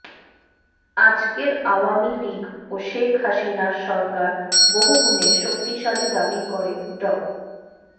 আজকের আওয়ামী লীগ ও শেখ হাসিনার সরকার বহুগুণে শক্তিশালী দাবি করে ড